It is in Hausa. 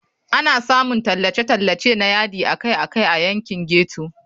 Ana samun tallace-tallace na yadi akai-akai a yankin ghetto.